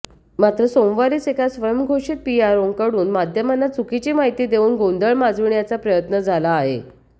मात्र सोमवारीच एका स्वयंघोषित पीआरओंकडून माध्यमांना चुकीची माहिती देवून गोंधळ माजविण्याचा प्रयत्न झाला आहे